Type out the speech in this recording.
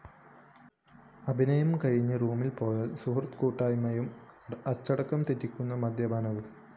അഭിനയം കഴിഞ്ഞ് റൂമില്‍ പോയാല്‍ സൗഹൃദക്കൂട്ടായ്മയും അച്ചടക്കം തെറ്റിക്കുന്ന മദ്യപാനവും